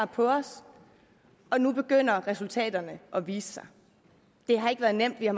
på os og nu begynder resultaterne at vise sig det har ikke været nemt vi har